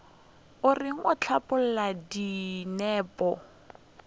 o reng o hlapaola dinepo